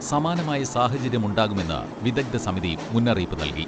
സമാനമായ സാഹചര്യമുണ്ടാകുമെന്ന് വിദഗ്ദ്ധ സമിതി മുന്നറിയിപ്പ് നൽകി.